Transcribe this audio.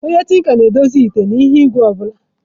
Onye tinka na-edozi ite, ite na ihe igwe obula.